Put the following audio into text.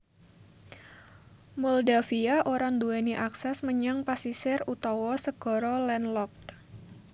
Moldavia ora nduwèni akses menyang pasisir utawa segara landlocked